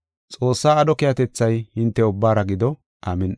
Xoossaa aadho keehatethay hinte ubbaara gido. Amin7i.